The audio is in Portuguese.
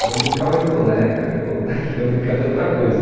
Ela brincava de boneca, eu queria brincar de outra coisa.